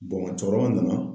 cɛkɔrɔba nana.